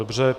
Dobře.